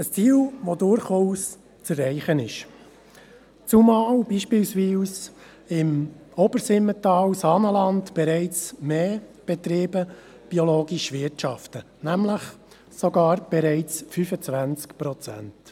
Ein Ziel, das durchaus zu erreichen ist, zumal beispielsweise im Obersimmental/ Saanenland bereits mehr Betriebe biologisch wirtschaften, nämlich 25 Prozent.